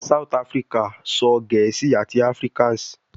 South Africa sọ Gẹẹsi ati afrikaans